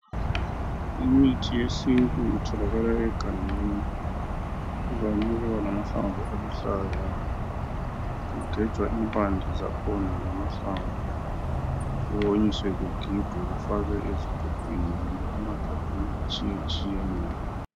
Imithi yesintu itholakala egangeni ivame ukuba lamahlamvu aluhlaza kugejwa impande zakhona lamahlamvu kuwonyiswe kugigwe kufakwe ezigubhini kumbe emagabheni atshiyetshiyeneyo.